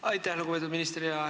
Aitäh, lugupeetud minister!